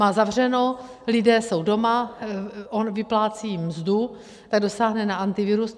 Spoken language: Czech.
Má zavřeno, lidé jsou doma, on vyplácí mzdu, tak dosáhne na Antivirus.